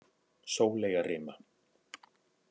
Sóleyjarima